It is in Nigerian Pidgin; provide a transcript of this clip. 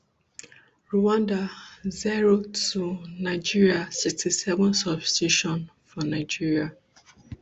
rwanda zero two nigeria sixty-seven substitution for nigeria